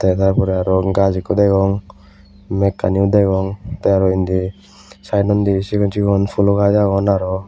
tar porey arw gaj ikko degong mekkaniyo degong tey aro indi saedonni sigon sigon pulo gaj agon aro.